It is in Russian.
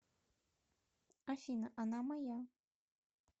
афина она моя